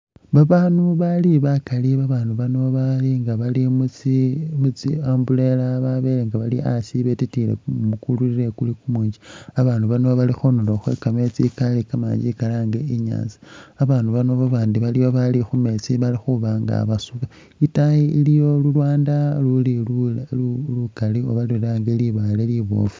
Babandu bali bakali babandu bano balinga baali mutsi umbrella babelenga bali asi betkiye kumumu kuli kumunji babandu bano bali khundulo khwekameetsi kamakali kalangr inyaatsa babandu aliwo babandi baali khumeetsi bali khubanga basuba itaayi iliyo lulwanda luli lukali oba lilange libaale libofu.